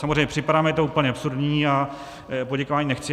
Samozřejmě připadá mi to úplně absurdní a poděkování nechci.